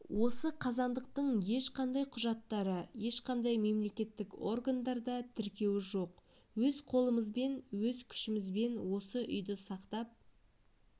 осы қазандықтың ешқандай құжаттары ешқандай мемлекеттік органдарда тіркеуі жоқ өз қолымызбен өз күшімізбен осы үйді сақтап